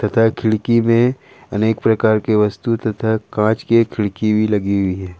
खिड़की में अनेक प्रकार की वस्तु तथा कांच की एक खिड़की भी लगी हुई है।